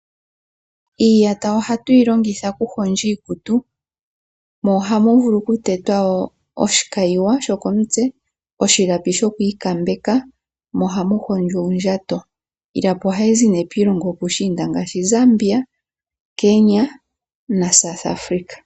Iiyata ohatu yi longitha okuhondja iikutu mo ohamu vulu okutetwa oshikayiwa shoko mutse, oshilapi shokwi kambeka mo ohamu hondjwa uundjato. Ohayi zi piilongo yopushinda ngaashi Zambia, Kenya naSouth africa.